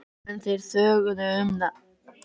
En þeir þögðu um það.